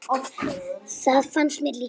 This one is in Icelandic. Það fannst mér líka.